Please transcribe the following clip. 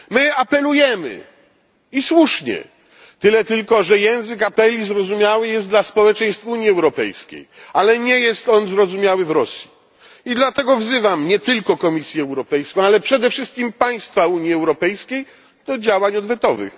My apelujemy, i słusznie, tyle tylko że język apeli zrozumiały jest dla społeczeństw Unii Europejskiej, ale nie jest on zrozumiały w Rosji, i dlatego wzywam nie tylko Komisję Europejską, ale przede wszystkim państwa Unii Europejskiej do działań odwetowych.